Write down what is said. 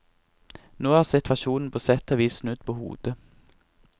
Nå er situasjonen på sett og vis snudd på hodet.